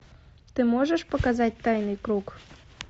ты можешь показать тайный круг